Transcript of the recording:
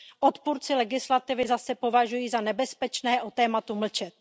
Odpůrci legislativy zase považují za nebezpečné o tématu mlčet.